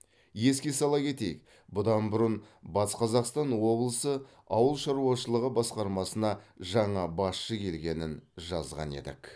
еске сала кетейік бұдан бұрын батыс қазақстан облысы ауыл шаруашылығы басқармасына жаңа басшы келгенін жазған едік